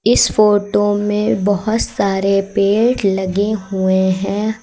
इस फोटो में बहोत सारे पेड़ लगे हुए हैं।